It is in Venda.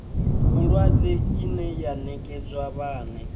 vhulwadze ine ya nekedzwa vhane